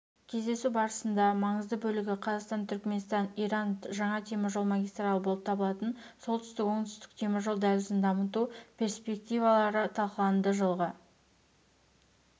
кездесу барысында маңызды бөлігі қазақстан-түркіменстан-иран жаңа теміржол магистралі болып табылатын солтүстік-оңтүстік теміржол дәлізін дамыту перспективаларыталқыланды жылғы